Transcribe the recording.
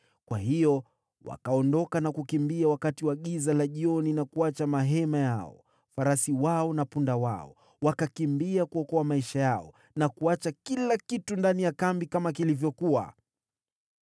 Kwa hiyo wakaondoka na kukimbia wakati wa giza la jioni na kuacha mahema yao, farasi wao na punda wao. Wakakimbia kuokoa maisha yao na kuacha kila kitu ndani ya kambi kama kilivyokuwa.